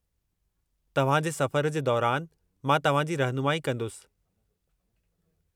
तव्हां जे सफ़र जे दौरान मां तव्हां जी रहिनुमाई कंदुसि।